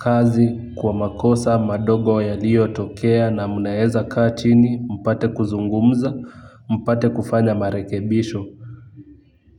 Kazi kwa makosa madogo yaliyotokea na mnaweza kaa chini mpate kuzungumza mpate kufanya marekebisho.